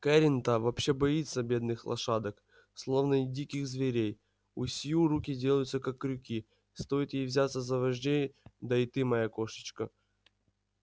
кэррин та вообще боится бедных лошадок словно диких зверей у сью руки делаются как крюки стоит ей взяться за вождей да и ты моя кошечка